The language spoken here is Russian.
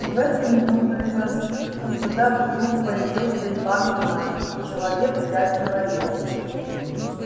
в эту минуту из-за скирда вдруг появился иван игнатьич и человек пять инвалидов